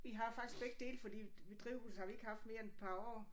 Vi har faktisk begge dele fordi drivhuset har vi ikke haft mere end et par år